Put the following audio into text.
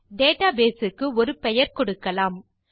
database க்கு ஒரு பெயர் கொடுக்கலாம்